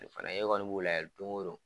O fana e kɔni b'u lajɛ don go don.